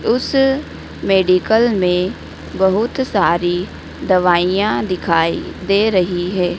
उस मेडिकल में बहुत सारी दवाईयां दिखाई दे रही है।